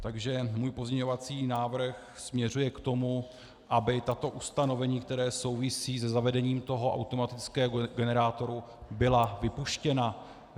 Takže můj pozměňovací návrh směřuje k tomu, aby tato ustanovení, která souvisí se zavedením toho automatického generátoru, byla vypuštěna.